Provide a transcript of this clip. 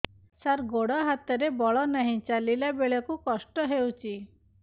ସାର ଗୋଡୋ ହାତରେ ବଳ ନାହିଁ ଚାଲିଲା ବେଳକୁ କଷ୍ଟ ହେଉଛି